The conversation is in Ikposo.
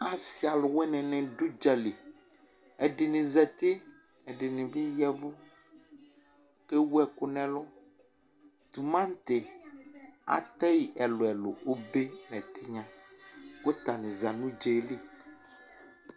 Asɩ aluwini nɩ dʋ ʋdzǝ li Ɛdɩnɩ zǝtɩ, ɛdɩnɩ bɩ ya ɛvʋ kʋ ewʋ ɛkʋ nʋ ɛlʋ Tʋmaŋtɩ atɛ yɩ ɛlʋɛlʋ: obe nʋ ɛtɩnya Ʋta nɩ dʋ ʋdza yɛ li